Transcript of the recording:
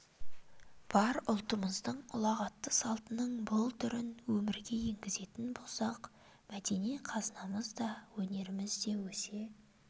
бар ұлтымыздың ұлағатты салтының бұл түрін өмірге енгізетін болсақ мәдени қазынамыз да өнеріміз де өсе